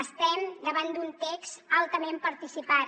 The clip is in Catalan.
estem davant d’un text altament participat